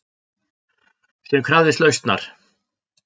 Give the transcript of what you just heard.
Sem krafðist lausnar.